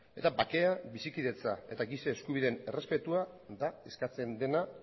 eta bakea bizikidetza eta giza eskubideen errespetua da eskatzen dena